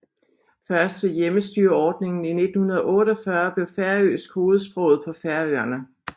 Først ved hjemmestyreordningen 1948 blev færøsk hovedsproget på Færøerne